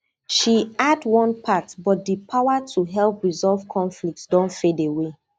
she add one part but di power to help resolve conflicts don fade away